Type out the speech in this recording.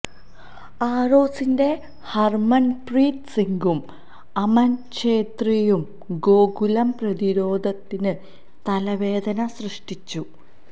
ആരോസിന്റെ ഹര്മന്പ്രീത് സിംഗും അമന് ഛേത്രിയും ഗോകുലം പ്രതിരോധത്തിന് തലവേദന സൃഷ്ടിച്ചു